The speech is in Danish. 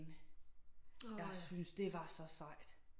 Jeg syntes det var så sejt